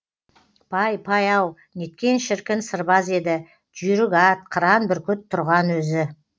пай пай ау неткен шіркін сырбаз еді жүйрік ат қыран бүркіт тұрған өзі